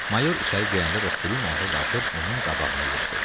Mayor içəri girəndə Ruslini ayağa qalxıb, onun qabağına yeridi.